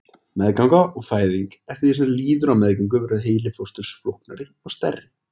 Meðganga og fæðing Eftir því sem líður á meðgöngu verður heili fósturs flóknari og stærri.